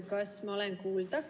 Kas ma olen kuulda?